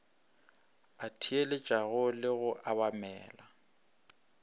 a theeletšago le go obamela